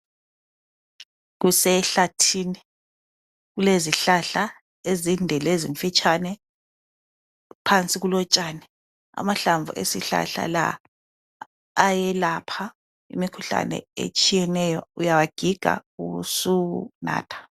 Kusehlathini kulezihlahla ezinde lezimfitshane. Phansi kulotshani amahlamvu esihlahla la ayelapha imikhuhlane etshiyeneyo. Uyawagiga ubusunatha.